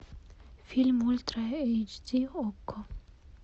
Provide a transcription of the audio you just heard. фильм ультра эйч ди окко